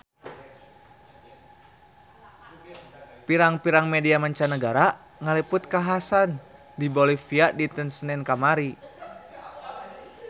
Pirang-pirang media mancanagara ngaliput kakhasan di Bolivia dinten Senen kamari